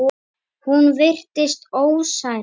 Hún virtist ósærð.